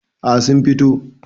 A sun fito